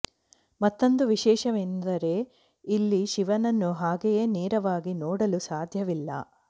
ಮತ್ತೊಂದು ವಿಶೇಷವೆಂದರೆ ಇಲ್ಲಿ ಶಿವನನ್ನು ಹಾಗೆಯೆ ನೇರವಾಗಿ ನೋಡಲು ಸಾಧ್ಯವಿಲ್ಲ